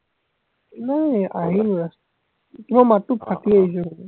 নাই আহিলো just তোমাৰ মাততো ফাটি আহিছে বোলে